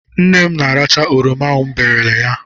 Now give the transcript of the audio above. Nne m na-aracha oroma m berele ya.